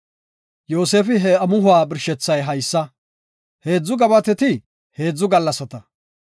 Yoosefi, “He amuhuwa birshethay haysa; heedzu gabateti heedzu gallasata.